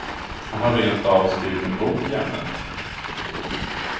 Han har rentav skrivit en bok i ämnet.